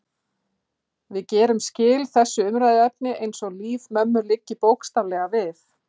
Við gerum skil þessu umræðuefni eins og líf mömmu liggi bókstaflega við.